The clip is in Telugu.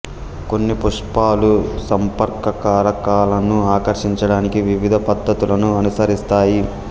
కొన్ని పుష్పాలు సంపర్క కారకాలను ఆకర్షించడానికి వివిధ పద్ధతులను అనుసరిస్తాయి